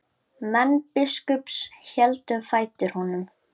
Menn biskups héldu um fætur honum.